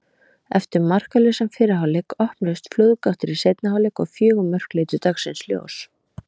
Eftir markalausan fyrri hálfleik opnuðust flóðgáttir í seinni hálfleik og fjögur mörk litu dagsins ljós.